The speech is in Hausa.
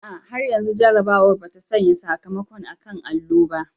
A'a, har yanzu jarrabawar ba ta sanya sakamakon a kan allo ba.